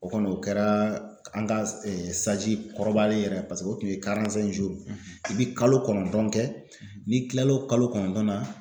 O kɔni o kɛra an ka kɔrɔbalen yɛrɛ paseke o tun ye i bɛ kalo kɔnɔntɔn kɛ n'i kila l'o kalo kɔnɔntɔn na